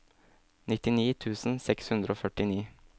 nittini tusen seks hundre og førtini